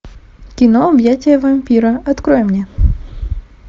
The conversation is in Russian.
кино объятия вампира открой мне